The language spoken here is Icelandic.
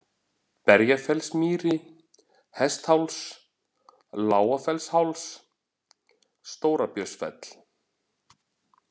Berjafellsmýri, Hestháls, Lágafellsháls, Stóra-Björnsfell